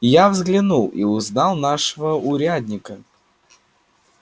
я взглянул и узнал нашего урядника